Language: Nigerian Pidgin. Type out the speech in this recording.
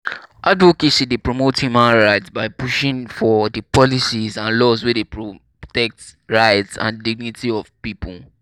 advocacy dey promote human rights by pushing for di policies and laws wey dey protect rights and dignity of people.